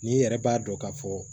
N'i yɛrɛ b'a dɔn k'a fɔ